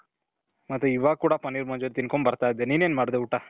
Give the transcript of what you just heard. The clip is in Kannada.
ಮತ್ತೆ ಇವಾಗ್ ಕೂಡ ಪನ್ನೀರ್ ಮಂಚೂರಿ ತಿನ್ಕೊಂಡು ಬರ್ತಾ ಇದಿನಿ. ನೀನು ಏನ್ ಮಾಡ್ದೆ ಊಟ ?